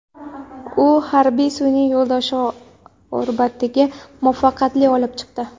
U harbiy sun’iy yo‘ldoshni orbitaga muvaffaqiyatli olib chiqdi.